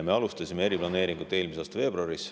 Me alustasime eriplaneeringut eelmise aasta veebruaris.